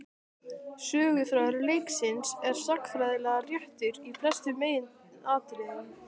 Söguþráður leiksins er sagnfræðilega réttur í flestum meginatriðum.